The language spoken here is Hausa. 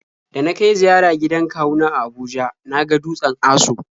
Da na kai ziyara gidan kawu na a Abuja na ga dutsen Aso.